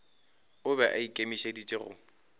o be a ikemišeditše go